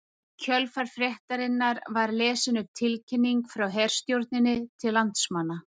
Í kjölfar fréttarinnar var lesin upp tilkynning frá herstjórninni til landsmanna